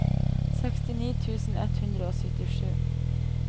sekstini tusen ett hundre og syttisju